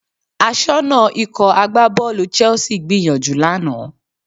Aṣọ́nà Ikọ̀ agbábọ́ọ̀lù Chelsea gbìyànjú lánàá